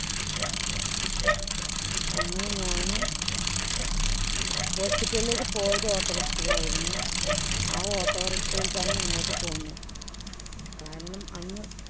അങ്ങനെ ഞാനെ hospital ഇലേക്ക് പോയത് auto rikshaw യിലായിരുന്നു. ആ auto rikshaw യില്‍ തന്നെ ഇങ്ങോട്ട് പോന്നു കാരണം, അന്ന്